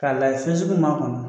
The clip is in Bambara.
K'a la fɛn sugu min m'a kɔnɔ.